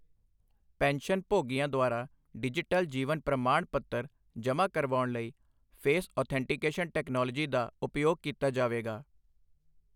pension ਭੋਗੀਆਂ ਦੁਆਰਾ digital ਜੀਵਨ ਪ੍ਰਮਾਣ ਪੱਤਰ ਜਮ੍ਹਾਂ ਕਰਵਾਉਣ ਲਈ ਫੇਸ ਔਥੈਂਟੀਕੇਸ਼ਨ ਟੈਕਨੋਲੋਜੀ ਦਾ ਉਪਯੋਗ ਕੀਤਾ ਜਾਵੇਗਾ